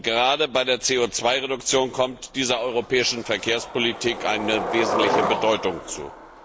Gerade bei der CO Reduktion kommt dieser europäischen Verkehrspolitik wesentliche Bedeutung zu.